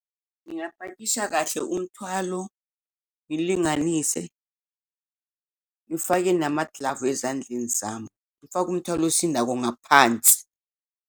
Ngingapakisha kahle umthwalo, ngilinganise, ngifake namaglavu ezandleni zami, ngifake umthwalo osindayo ngaphansi.